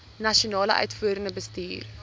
nasionale uitvoerende bestuur